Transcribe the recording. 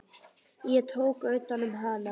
Ég tók utan um hana.